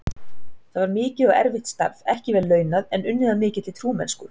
Það var mikið og erfitt starf, ekki vel launað, en unnið af mikilli trúmennsku.